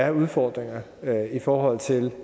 er udfordringer i forhold til